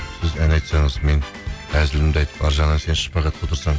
сіз ән айтсаңыз мен әзілімді айтып арғы жағынан сен шпагатқа отырсаң